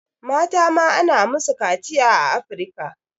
Mata ma ana musu kaciya a Afirika.